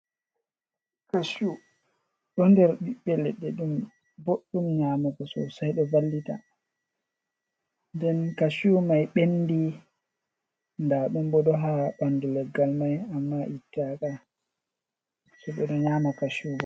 Kashu ɗo nder ɓiɓɓe leɗɗe, ɗum boɗɗum nyamugo sosai, ɗo vallita nden kashu mai ɓendi ndaɗum ɓo ɗo haa ɓandu leggal mai amma itta ka so ɓeɗo nyama kashu bo.